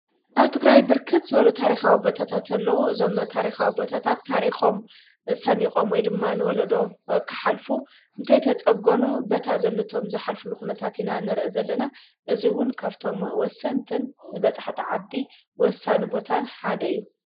ኣቲ ግራይ ብርክት ዝበሉ ታሪኻዊ ቦታታት ዘለዉ ዞም ታሪኻዊ ቦታታት ታሪኾም ሰኒቖም ወይ ድማ ንወለዶ ኽሓልፉ እንተይተጸጐኑ በታ ዘለ ቶም ዝኃልፉ ልዂነታት ሕናንርኢ ዘለና እዙይውን ካብቶም ወስንትን ንበፃሕተ ዓዲ ወሳኒ ቦታን ሓደ እዩ።